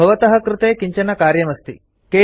अत्र भवतः कृते किञ्चन कार्यमस्ति